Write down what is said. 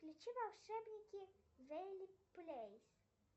включи волшебники вэли прэйс